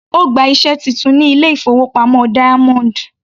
Ó gba iṣẹ́ titun ní ilé-ìfowópamọ́ Diamond.